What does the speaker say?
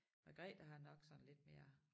Margrethe har nok sådan lidt mere